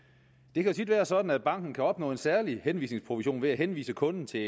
det kan tit være sådan at banken kan opnå en særlig henvisningsprovision ved at henvise kunden til